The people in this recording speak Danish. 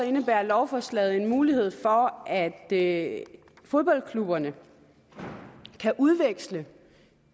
indebærer lovforslaget en mulighed for at fodboldklubberne kan udveksle